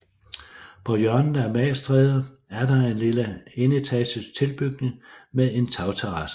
På hjørnet af Magstræde er der en lille enetages tilbygning med en tagterrasse